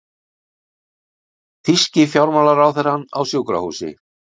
Þýski fjármálaráðherrann á sjúkrahúsi